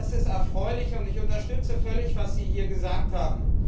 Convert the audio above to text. Das ist erfreulich, und ich unterstütze völlig, was Sie hier gesagt haben.